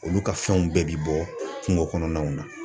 Olu ka fɛnw bɛɛ bi bɔ kungo kɔnɔnaw na..